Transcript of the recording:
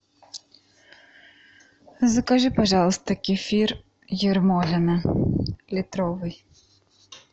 закажи пожалуйста кефир ермолино литровый